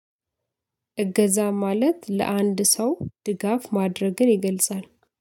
እገዛ ማለት ለአንድ ሰው ድጋፍ ማድረግን ይገልጻል